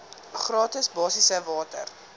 gratis basiese water